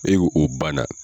E o banna.